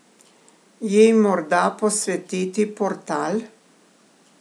Ji morda posvetiti portal?